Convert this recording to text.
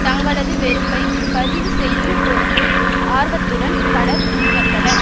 தங்களது வெறுப்பை பதிவு செய்யும் பொருட்டு ஆர்வத்துடன் பலர் முன் வந்தனர்